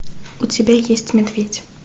у тебя есть медведь